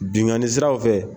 Bingani siraraw fɛ.